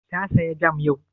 Ta saya jam yau?